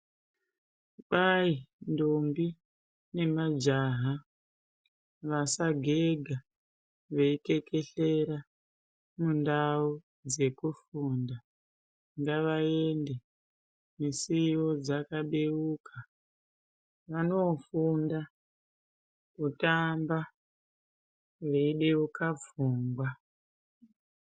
Kwai ndombi nemajaha vasagega veikekehlera mundau dzekufunda ngavaende musiwo dzakabeuka vanofunda kutamba veibeuka pfungwa .